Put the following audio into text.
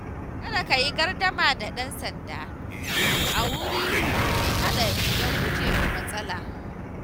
Kada ka yi gardama da ɗan sanda a wuri mai haɗari don gujewa matsala.